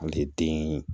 An tɛ den